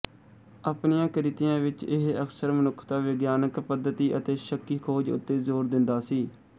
ਆਪਣੀਆਂ ਕ੍ਰਿਤੀਆਂ ਵਿੱਚ ਇਹ ਅਕਸਰ ਮਨੁੱਖਤਾ ਵਿਗਿਆਨਕ ਪੱਧਤੀ ਅਤੇ ਸ਼ੱਕੀ ਖੋਜ ਉੱਤੇ ਜ਼ੋਰ ਦਿੰਦਾ ਸੀ